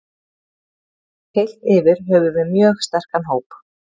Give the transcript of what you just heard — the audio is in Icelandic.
Heilt yfir höfum við mjög sterkan hóp.